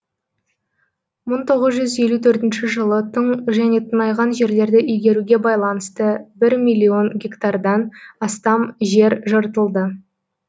мың тоғыз жүз елу төртінші жылы тың және тыңайған жерлерді игеруге байланысты бір миллион гектардан астам жер жыртылды